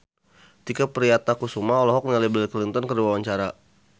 Tike Priatnakusuma olohok ningali Bill Clinton keur diwawancara